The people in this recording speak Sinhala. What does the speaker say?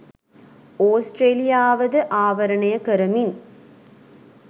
ඕස්ට්‍රේලියාවද ආවරණය කරමින්